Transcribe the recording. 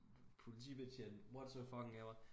Politibetjent what so fucking ever